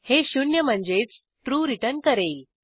हे शून्य म्हणजेच ट्रू रिटर्न करेल